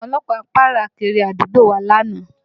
Àwọn ọlọ́pàá ń pààrà kiri àdúgbò wa lánàá